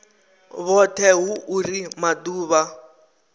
vhoṱhe arali hu uri maḓuvha